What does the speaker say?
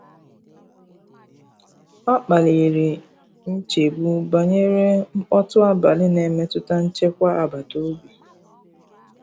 ọ kpaliri nchegbu banyere mkpọtụ abali na emetụta nchekwa agbata obi